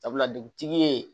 Sabula dugutigi ye